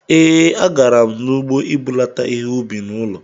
Ee, a garam n'ugbo ibulata ihe-ubi n'ụlọ